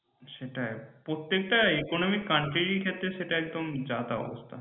সেটাই প্রত্যেকটা economic country এর ক্ষেত্রে সেটা একদম যাতা অবস্থা